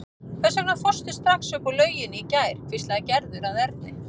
Hvers vegna fórstu strax upp úr lauginni í gær? hvíslaði Gerður að Erni.